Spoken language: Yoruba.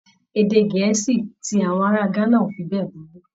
Èdè Gẹ̀ẹ́sì ti àwọn ará Ghana ò fi bẹ́ẹ̀ burú.